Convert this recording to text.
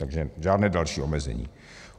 Takže žádné další omezení.